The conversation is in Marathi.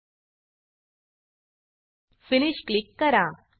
फिनिश फिनिश क्लिक करा